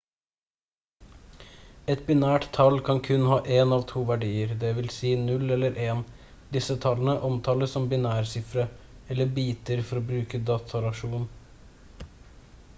et binært tall kan kun ha én av to verdier dvs 0 eller 1. disse tallene omtales som binærsifre eller biter for å bruke datasjargon